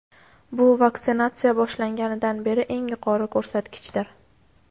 Bu vaksinatsiya boshlangandan beri eng yuqori ko‘rsatkichdir.